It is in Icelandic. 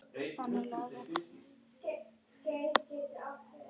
Þannig lagað.